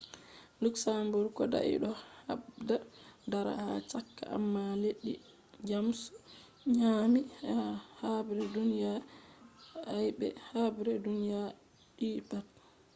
luxembourg kodai do habda dara ha chaka amma leddi jamus nyaami be ha habre duniya i be habre duniya ii pat